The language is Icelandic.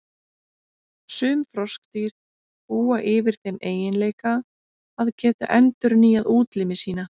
Sum froskdýr búa yfir þeim eiginleika að geta endurnýjað útlimi sína.